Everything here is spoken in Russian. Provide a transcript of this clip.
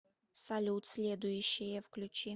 салют следующее включи